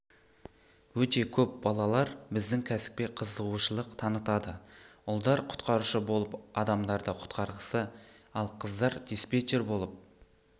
өте көп балалар біздің кәсіпке қызығушылық танытады ұлдар құтқарушы болып адамдарды құтқарғысы ал қыздар диспетчер болып